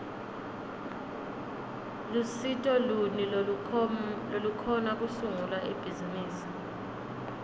lusito luni lolukhona kusungula ibhizimisi